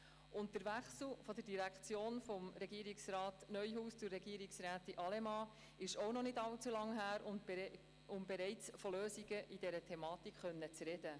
Zudem ist der Wechsel in der Direktion von Regierungsrat Christoph Neuhaus zu Regierungsrätin Evi Allemann auch noch nicht allzu lange her, um bereits von Lösungen in dieser Thematik sprechen zu können.